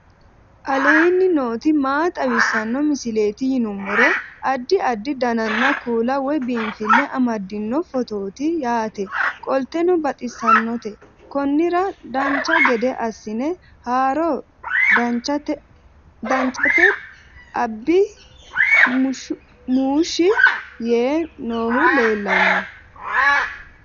aleenni nooti maa xawisanno misileeti yinummoro addi addi dananna kuula woy biinsille amaddino footooti yaate qoltenno baxissannote konnira dancha gede assine haara danchate abiyyi muushshi yee noohu leellanno